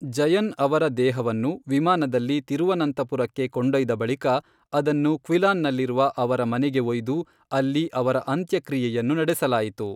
ಜಯನ್ ಅವರ ದೇಹವನ್ನು ವಿಮಾನದಲ್ಲಿ ತಿರುವನಂತಪುರಕ್ಕೆ ಕೊಂಡೊಯ್ದ ಬಳಿಕ ಅದನ್ನು ಕ್ವಿಲಾನ್ನಲ್ಲಿರುವ ಅವರ ಮನೆಗೆ ಒಯ್ದು ಅಲ್ಲಿ ಅವರ ಅಂತ್ಯಕ್ರಿಯೆಯನ್ನು ನಡೆಸಲಾಯಿತು.